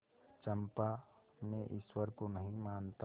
चंपा मैं ईश्वर को नहीं मानता